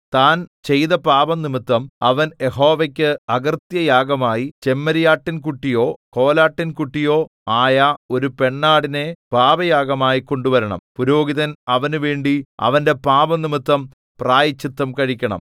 താൻ ചെയ്ത പാപംനിമിത്തം അവൻ യഹോവയ്ക്ക് അകൃത്യയാഗമായി ചെമ്മരിയാട്ടിൻകുട്ടിയോ കോലാട്ടിൻകുട്ടിയോ ആയ ഒരു പെണ്ണാടിനെ പാപയാഗമായി കൊണ്ടുവരണം പുരോഹിതൻ അവനുവേണ്ടി അവന്റെ പാപംനിമിത്തം പ്രായശ്ചിത്തം കഴിക്കണം